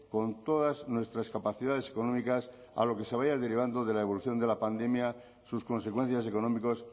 con todas nuestras capacidades económicas a lo que se vaya derivando de la evolución de la pandemia sus consecuencias económicos